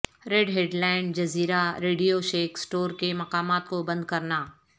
ر ہڈ لینڈ جزیرہ ریڈیو شیک سٹور کے مقامات کو بند کرنا